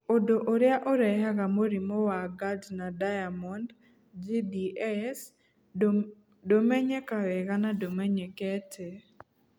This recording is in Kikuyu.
Ũndũ ũrĩa ũrehaga mũrimũ wa Gardner Diamond (GDS) ndũmenyeka wega na ndũmenyekete.